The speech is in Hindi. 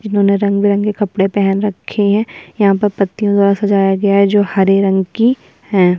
जिन्होंने रंग-बिरंगे के कपड़े पहन रखे हैं यहाँ पर पत्तियों द्वारा सजाया गया है जो हरे रंग की हैं।